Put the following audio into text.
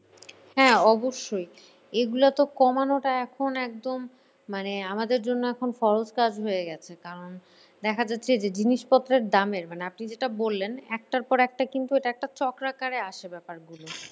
হ্যাঁ অবশ্যই। এগুলাতো কমানোটা এখন একদম মানে আমাদের জন্য এখন false কাজ হয়েগেছে। কারণ দেখা যাচ্ছে যে জিনিসপত্রের দামের মানে আপনি যেটা বললেন একটার পরে একটা কিন্তু এটা একটা চক্রাকারে আসে ব্যাপারগুলা।